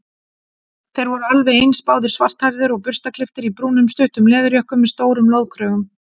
Þeir voru alveg eins, báðir svarthærðir og burstaklipptir í brúnum stuttum leðurjökkum með stórum loðkrögum.